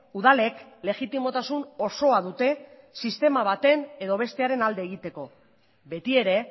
udalek legitimotasun osoa dute sistema baten edo bestearen alde egiteko beti ere